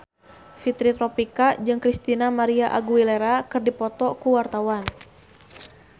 Fitri Tropika jeung Christina María Aguilera keur dipoto ku wartawan